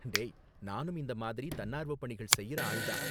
டேய், நானும் இந்த மாதிரி தன்னார்வ பணிகள் செய்யுற ஆள் தான்.